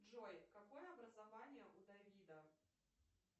джой какое образование у давида